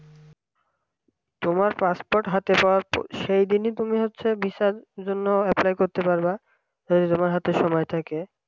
তুমি passport হাতে পাওয়ার সেদিনই তুমি হচ্ছে visa র জন্য apply করতে পারবা যদি তোমার হাতের সময় থাকে